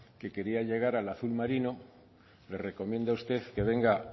que quería llegar al azul marino le recomiendo a usted que venga